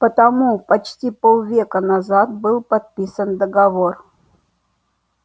потому почти полвека назад был подписан договор